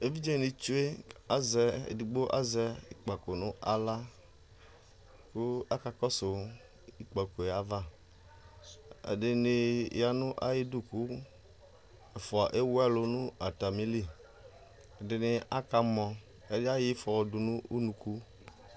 Evidze ni tsue, azɛ, edigbo azɛ ikpako nʋ aɣla kʋ aka kɔsʋ ikpako yɛ ava, ɛdini ya nʋ ayidu kʋ ɛfua ewu alʋ n'atami li Ɛdini aka mɔ, ɛdi ayɔ ifɔ dʋ nʋ unuku